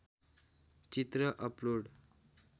चित्र अपलोड